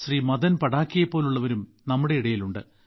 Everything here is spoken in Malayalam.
മദൻ പാഠക്കിനെ പോലുള്ളവരും നമ്മുടെ ഇടയിലുണ്ട്